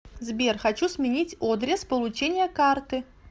сбер хочу сменить одрес получения карты